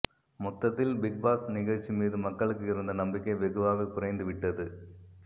மொத்தத்தில் பிக்பாஸ் நிகழ்ச்சி மீது மக்களுக்கு இருந்த நம்பிக்கை வெகுவாக குறைந்துவிட்டது